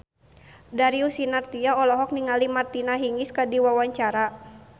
Darius Sinathrya olohok ningali Martina Hingis keur diwawancara